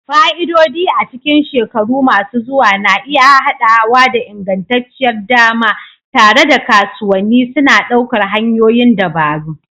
Fa'idodi a cikin shekaru masu zuwa na iya haɗawa da ingantacciyar dama, tare da kasuwanni suna ɗaukar hanyoyin dabaru.